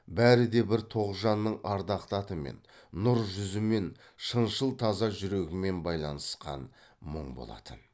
бәрі де бір тоғжанның ардақты атымен нұр жүзімен шыншыл таза жүрегімен байланысқан мұң болатын